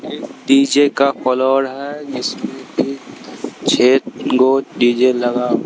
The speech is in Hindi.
डी_जे का फ्लोर है इसमें एक छह दो डी_जे लगा--